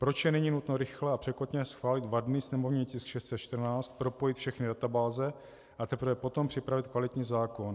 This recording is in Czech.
Proč je nyní nutno rychle a překotně schválit vadný sněmovní tisk 614, propojit všechny databáze, a teprve potom připravit kvalitní zákon?